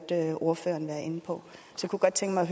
ordføreren være inde på jeg kunne godt tænke mig